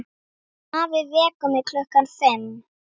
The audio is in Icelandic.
Afi vekur mig klukkan fimm.